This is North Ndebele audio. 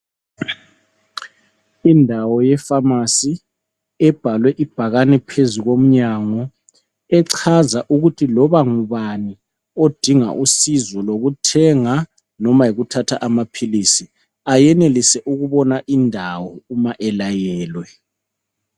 Indawo yeFamasi ebhalwe ibhakani phezu komnyango . Echaza ukuthi loba ngubani odinga usizo lokuthenga noma yikuthatha amaphilisi ayenelisa ubona indawo uma elayelwe.